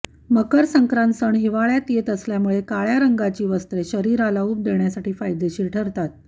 मकर संक्रांत सण हिवाळ्यात येत असल्यामुळे काळ्या रंगाची वस्त्रे शरीराला उब देण्यासाठी फायदेशीर ठरतात